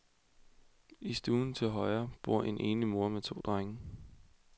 I stuen til højre bor en enlig mor med to drenge.